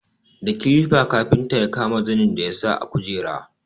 Da kilifa kafinta ya kama zanin da ya sa a kujera.